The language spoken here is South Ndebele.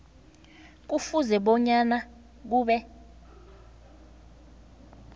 kufuze bona kube